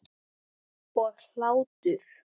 Og hlátur.